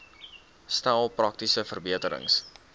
stel praktiese verbeterings